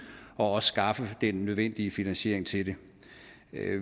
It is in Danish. og også skaffe den nødvendige finansiering til det